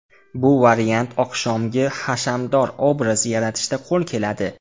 Bu variant oqshomgi hashamdor obraz yaratishda qo‘l keladi.